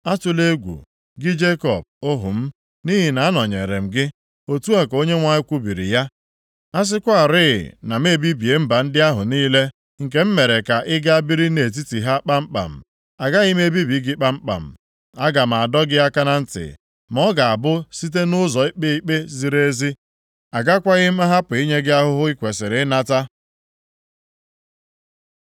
Atụla egwu, gị Jekọb, ohu m, nʼihi na anọnyeere m gị,” otu a ka Onyenwe anyị kwubiri ya. “A sịkwarị na m ebibie mba ndị ahụ niile nke m mere ka ị gaa biri nʼetiti ha kpamkpam, agaghị m ebibi gị kpamkpam. Aga m adọ gị aka na ntị, ma ọ ga-abụ site nʼụzọ ikpe ikpe ziri ezi. Agakwaghị m ahapụ inye gị ahụhụ i kwesiri ịnata.”